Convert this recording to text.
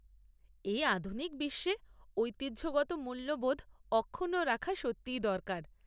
এই আধুনিক বিশ্বে ঐতিহ্যগত মূল্যবোধ অক্ষুণ্ণ রাখা সত্যিই দরকার।